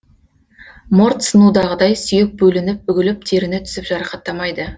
морт сынудағыдай сүйек бөлініп үгіліп теріні тесіп жарақаттамайды